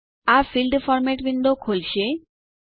આ field format window ખોલશે